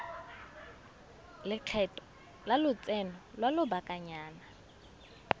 lekgetho la lotseno lwa lobakanyana